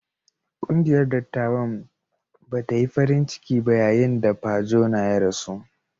Ƙungiyar dattawan ba ta yi farin ciki ba yayin da Pa Jona ya rasu.